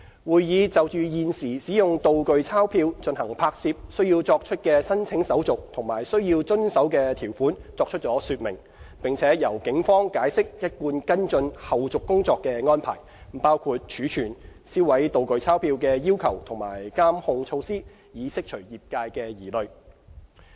會議就現時使用"道具鈔票"進行拍攝須作出的申請手續及須遵守的條款作出了說明，並由警方解釋一貫跟進後續工作的安排，包括儲存、銷毀"道具鈔票"的要求及監控措施，以釋除業界的疑慮。